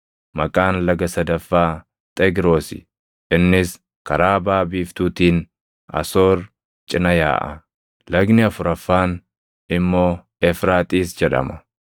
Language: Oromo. Maqaan laga sadaffaa Xegroosi; innis karaa baʼa biiftuutiin Asoor cina yaaʼa. Lagni afuraffaan immoo Efraaxiis jedhama.